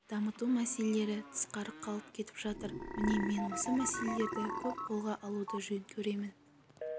дамыту мәселелері тысқары қалып кетіп жатыр міне мен осы мәселелерді көп қолға алуды жөн көремін